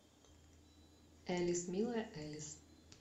элис милая элис